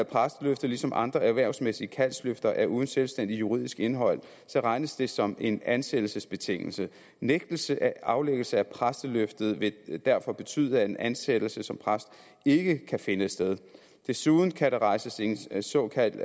præsteløftet ligesom andre erhvervsmæssige kaldsløfter er uden selvstændigt juridisk indhold regnes det som en ansættelsesbetingelse nægtelse af aflæggelse af præsteløftet vil derfor betyde at en ansættelse som præst ikke kan finde sted desuden kan der rejses en såkaldt